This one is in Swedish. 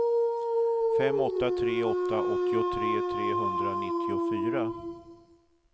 fem åtta tre åtta åttiotre trehundranittiofyra